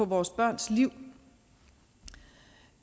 vores børns liv